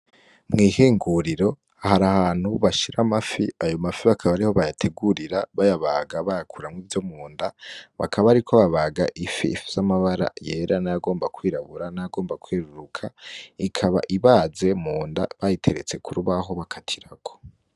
Mwihinguriro hari ahantu bashira amafi ayo mafi akaba ariho bayategurira bayabaga bayakuramwo ivyo munda bakaba bariko babaga ifi ifise amabara yera nayagomba kwirabura, nagomba kwereruka ikaba ibaze munda bayiteretse kurubaho bakatirako.